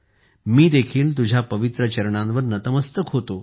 मी देखील तुझ्या पवित्र चरणांवर नतमस्तक होतो